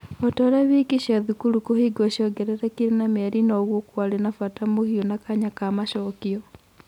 Otorĩa wiki cia thukuru kũhingwo ciongererekire na mĩeri noguo kũarĩ na bata mũhiũ na kanya ka macokio.